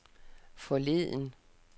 forleden